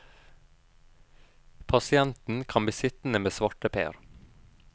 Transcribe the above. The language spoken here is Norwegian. Pasienten kan bli sittende med svarteper.